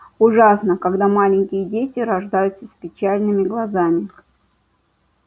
ужасно когда маленькие дети рождаются с печальными глазами